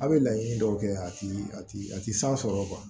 A' bɛ laɲini dɔw kɛ a ti a ti a ti san sɔrɔ